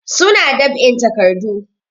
Su na ɗab'in takardu.